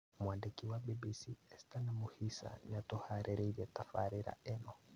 Mwandĩki wa BBC, Esther Namuhisa nĩatũharĩrĩirie tabarĩra ĩno